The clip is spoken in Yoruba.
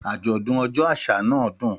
Àjọ̀dún ọjọ́ àṣà náà dùn.